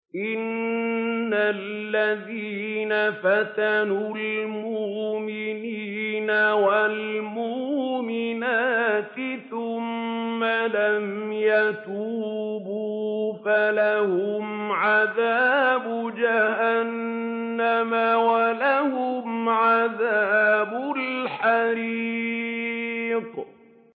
إِنَّ الَّذِينَ فَتَنُوا الْمُؤْمِنِينَ وَالْمُؤْمِنَاتِ ثُمَّ لَمْ يَتُوبُوا فَلَهُمْ عَذَابُ جَهَنَّمَ وَلَهُمْ عَذَابُ الْحَرِيقِ